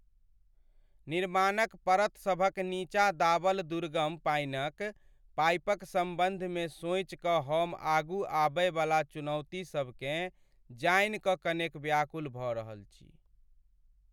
निर्माणक परतसभक नीचाँ दाबल दुर्गम पानिक पाइपक सम्बन्धमे सोचि कऽ हम आगू आबयवला चुनौतीसभकेँ जानि कऽ कनेक व्याकुल भऽ रहल छी।